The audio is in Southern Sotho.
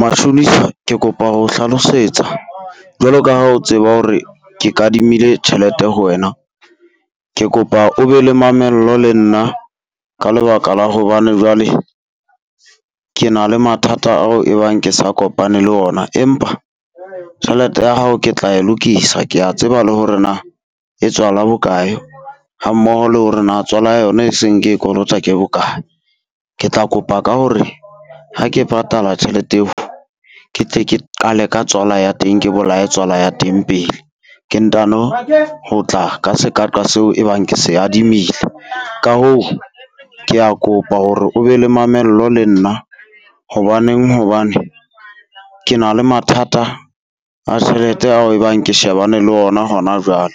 Mashonisa ke kopa ho o hlalosetsa, jwalo ka ha o tseba hore ke kadimile tjhelete ho wena. Ke kopa o be le mamello le nna ka lebaka la hobane jwale ke na le mathata ao e bang ke sa kopane le ona. Empa tjhelete ya hao ke tla e lokisa, kea tseba le hore na e tswala bokae hammoho le hore na tswela yona e seng ke e kolota ke bokae. Ke tla kopa ka hore ha ke patala tjhelete eo, ke tse ke qale ka tswala ya teng, ke bolae tswala ya teng pele ke ntano ho tla ka seqaqa seo e bang ke se adimile. Ka hoo kea kopa hore o be le mamello le nna hobaneng hobane. Ke na le mathata a tjhelete ao e bang ke shebane le ona hona jwale,